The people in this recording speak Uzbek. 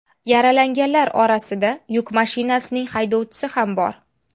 Yaralanganlar orasida yuk mashinasining haydovchisi ham bor.